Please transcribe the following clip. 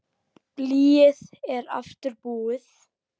Blýið er aftur búið.